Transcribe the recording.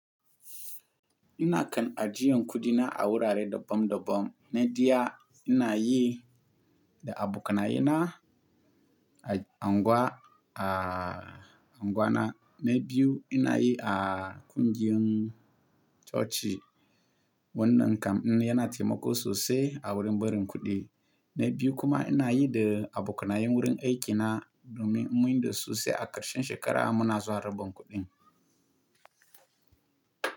Ina kan ajiyan kudi na a wurare dabban-dabban. Nai ɗiya ina yi da abokanaye na a unguwa, a unguwa na. Na biyu ina yi a kungiyar coci. Wannan kam yana taimako sosai a wurin barin kuɗi. Na biyu kuma ina yi da abokanayen wurin aikina domin in mun yi dasu se a karshen shekarar muna zuwa rabon kuɗin.